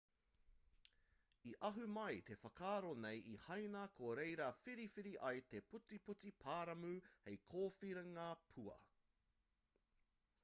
i ahu mai te whakaaro nei i haina ko reira whiriwhiri ai te putiputi paramu hei kōwhiringa pua